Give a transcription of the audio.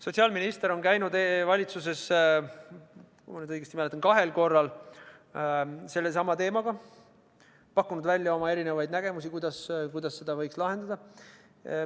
Sotsiaalminister on käinud valitsuses – kui ma nüüd õigesti mäletan – kahel korral sellesama teemaga, pakkunud välja eri nägemusi, kuidas seda probleemi võiks lahendada.